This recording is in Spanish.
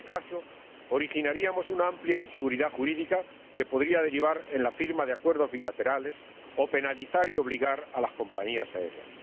en este caso, originaríamos una amplia inseguridad jurídica que podría derivar en la firma de acuerdos bilaterales o penalizar y obligar a las compañías aéreas.